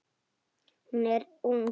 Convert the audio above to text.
Hún er ung.